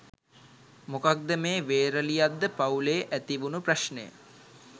මොකක්ද මේ වේරලියද්ද පවු‍ලේ ඇති වුණ ප්‍රශ්නය?